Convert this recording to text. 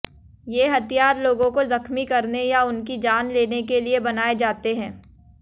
ये हथियार लोगों को जख्मी करने या उनकी जान लेने के लिए बनाए जाते हैं